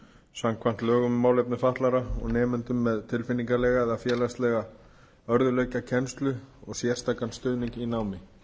samkvæmt lögum um málefni fatlaðra og nemendum með tilfinningalega eða félagslega örðugleika kennslu og sérstakan stuðning í námi